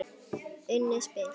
Unnið spil.